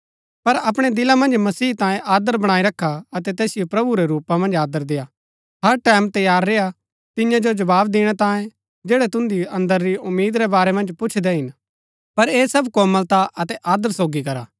पर अपणै दिला मन्ज मसीह तांये आदर बणाई रखा अतै तैसिओ प्रभु रै रूपा मन्ज आदर देय्आ हर टैमं तैयार रेय्आ तिन्या जो जवाव दिणै तांये जैड़ै तुन्दी अन्दर री उम्मीद रै बारै मन्ज पुछदै हिन पर ऐह सब कोमलता अतै आदर सोगी करा